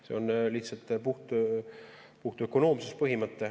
See on lihtsalt puht ökonoomsuse põhimõte.